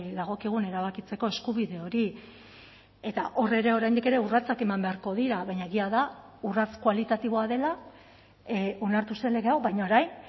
dagokigun erabakitzeko eskubide hori eta hor ere oraindik ere urratsak eman beharko dira baina egia da urrats kualitatiboa dela onartu zen lege hau baina orain